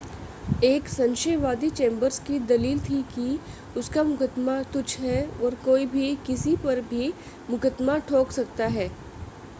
एक संशयवादी चेंबर्स की दलील थी कि उसका मुकदमा तुच्छ है और कोई भी किसी पर भी मुकदमा ठोंक सकता है